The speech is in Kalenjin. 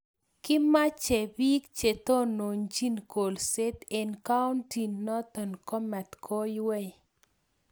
kimach biik chetononchini kolset eng kauntinoto komatkoiwei